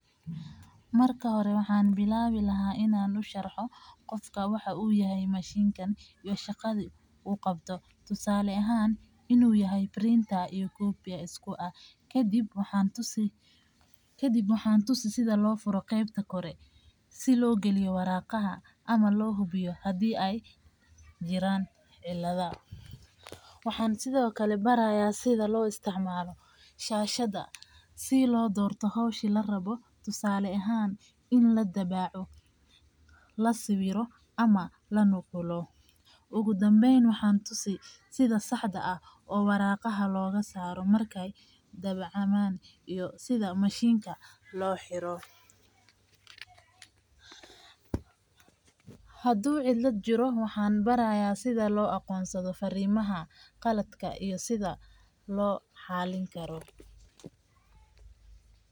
Marka hore waxaaan bilaabi laha qofka wuxuu yahay mishinkan tusaale ahaan inuu yahay kobi kadib waxaan tusaaya sida loo galiyo warqadaha kadib waxaan baraya sida loo isticmaalo shashada oo wax loogu qoro ugu danbeyn waxaan baraaya sida looga bixiyo warqadaha haduu cidkad jiro waxaan baraaya sida loo galiyo.